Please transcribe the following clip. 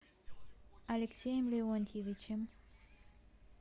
алексеем леонтьевичем